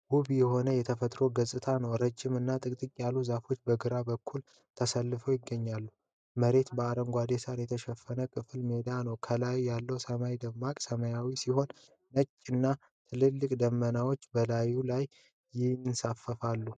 ውብ የሆነ የተፈጥሮ ገጽታ ነው። ረዣዥም እና ጥቅጥቅ ያሉ ዛፎች በግራ በኩል ተሰልፈው ይገኛሉ። መሬቱ በአረንጓዴ ሳር የተሸፈነ ክፍት ሜዳ ነው። ከላይ ያለው ሰማይ ደማቅ ሰማያዊ ሲሆን ነጭ እና ትላልቅ ደመናዎች በላዩ ላይ ይንሳፈፋሉ።